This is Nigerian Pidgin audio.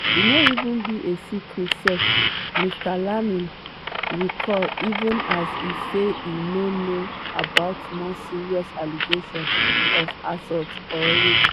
e “no even be a secret sef” mr leeming recall even as e say e no know about more serious allegations of assault or rape.